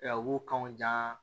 U b'u kanw jan